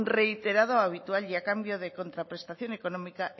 reiterada o habitual y a cambio de contraprestación económica